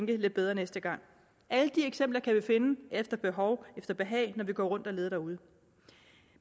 det lidt bedre næste gang alle de eksempler kan vi finde efter behov efter behag når vi går rundt og leder derude